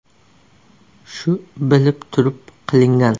Shu bilib turib qilingan.